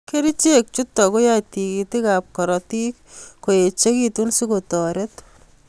Kerichek chutok koyae tigitik ab karatik ko echekitu si kotaret